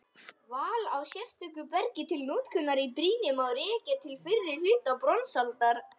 Val á sérstöku bergi til notkunar í brýni má rekja til fyrri hluta bronsaldar.